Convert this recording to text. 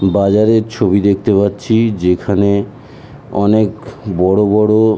বাজার এর ছবি দেখতে পাচ্ছি যেখানে অনকে বড়ো বড়ো--